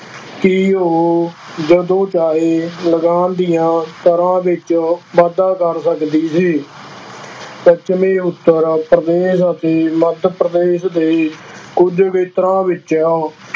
ਕਿ ਉਹ ਜਦੋਂ ਚਾਹੇ ਲਗਾਨ ਦੀਆਂ ਦਰਾਂ ਵਿੱਚ ਵਾਧਾ ਕਰ ਸਕਦੀ ਸੀ ਪੱਛਮੀ ਉੱਤਰ ਪ੍ਰਦੇਸ਼ ਅਤੇ ਮੱਧ ਪ੍ਰਦੇਸ਼ ਦੇ ਕੁੱਝ ਖੇਤਰਾਂ ਵਿੱਚ